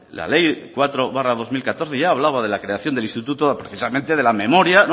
la ley cuatro barra dos mil catorce ya hablaba de la creación del instituto precisamente de la memoria